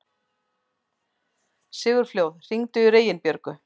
Sigurfljóð, hringdu í Reginbjörgu.